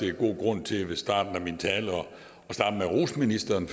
er god grund til i starten af min tale at rose ministeren